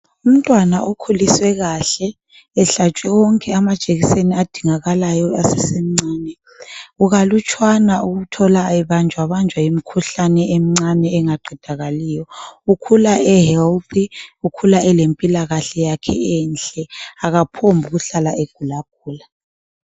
Umntwana okhuliswe kahle ehlatshwe wonke amajekiseni adingakalayo esesemncane kukalutshwana ukuthola ebanjwa banjwa yimkhuhlane emncane engaqedakaliyo. Ukhula ehealthy, ukhula elempilakahle yakhe enhle, akaphombi kuhlala ekugulagula.